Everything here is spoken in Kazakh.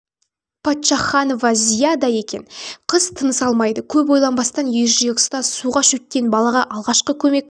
паччаханова зияда екен қыз тыныс алмайды көп ойланбастан ержүрек ұстаз суға шөккен балаға алғашқы көмек